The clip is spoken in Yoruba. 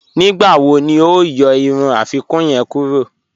Nígbàwò ni o yọ irun afikuǹ yẹń kúrọ̀?